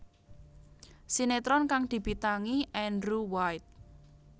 Sinetron kang dibintangi Andrew White